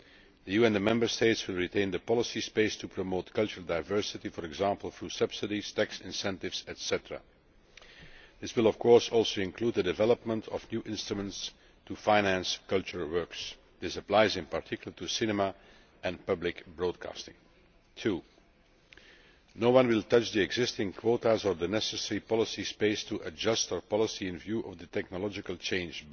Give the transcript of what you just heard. The EU and the Member States will retain the policy space to promote cultural diversity, for example through subsidies, tax incentives, etc. This will of course also include the development of new instruments to finance cultural works. This applies, in particular, to cinema and public broadcasting. Secondly, no one will touch the existing quotas or the necessary policy space to adjust our policy in view of the technological change